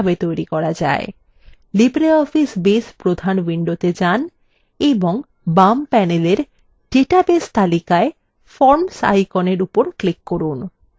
libreoffice base প্রধান window main এবং base panel database তালিকায় forms আইকনের উপর click করুন